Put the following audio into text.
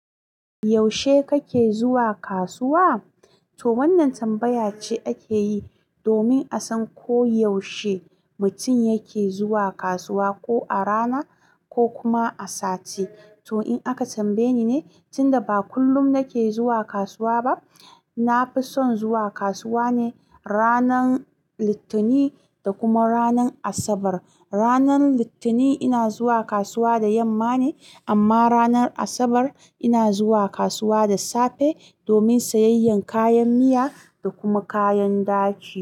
Yaushe kake zuwa kasuwa? To wannan tambaya ce ake yi domin a san ko yaushe mutum yake zuwa kasuwa, ko a rana ko kuma a sati. To in aka tambaye ni ne, tunda ba kullum nake zuwa kasuwa ba, na fi son zuwa kasuwa ne ranar Litani da kuma ranar Asabar. Ranar Litani ina zuwa kasuwa da yamma ne amma ranar Asabar ina zuwa kasuwa da safe domin sayayyan kayan miya da kuma kayan daki.